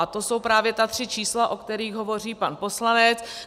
A to jsou právě ta tři čísla, o kterých hovoří pan poslanec.